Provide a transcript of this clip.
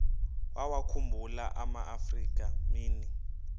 wawakhumbul amaafrika mini